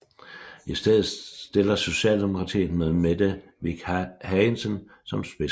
I stedet stiller Socialdemokratiet med Mette With Hagensen som spidskandidat